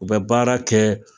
U bɛ baara kɛ